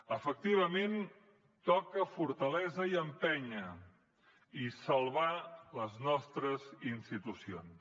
efectivament toca fortalesa i empènyer i salvar les nostres institucions